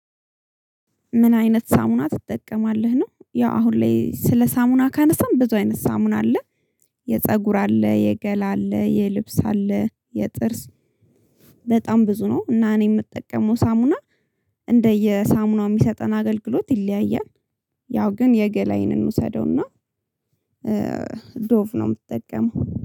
ምን አይነት ሳሙና ትጠቀማለህ ነው? ያው አሁን ላይ ስለ ሳሙና ካነሳን ብዙ አይነት ሳሙና አለ። የፀጉር አለ የገላ አለ የልብስ አለ። የጥርስ በጣም ብዙ ነው። እና እኔ የምጠቀመው ሳሙና። እንደየሳሙናው የሚሰጠን አገልግሎት ይለያያል። ያው ግን የገላዬን እንውሰደውና ዶቭ ነው ምጠቀመው